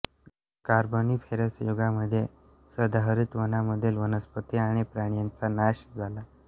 Carboniferous युगामध्ये सदाहरित वनांमधील वनस्पति आणि प्राण्यांचा नाश झाला